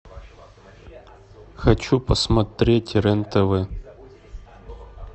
хочу посмотреть рен тв